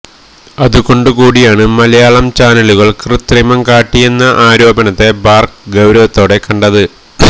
അതുകൊണ്ട് കൂടിയാണ് മലയാളം ചാനലുകൾ കൃത്രിമം കാട്ടിയെന്ന ആരോപണത്തെ ബാർക്ക് ഗൌരവത്തോടെ കണ്ടത്